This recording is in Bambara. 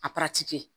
A kɛ